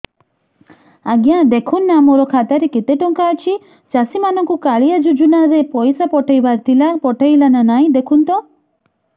ଆଜ୍ଞା ଦେଖୁନ ନା ମୋର ଖାତାରେ କେତେ ଟଙ୍କା ଅଛି ଚାଷୀ ମାନଙ୍କୁ କାଳିଆ ଯୁଜୁନା ରେ ପଇସା ପଠେଇବାର ଥିଲା ପଠେଇଲା ନା ନାଇଁ ଦେଖୁନ ତ